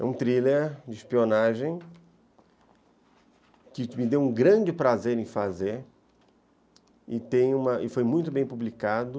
É um thriller de espionagem que me deu um grande prazer e tenho, e foi muito bem publicado.